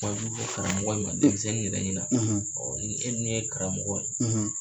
Kuma jugu fɔ karamɔgɔ in ma denmisɛnnin yɛrɛ ɲɛna ɔ ni e dun ye karamɔgɔ ye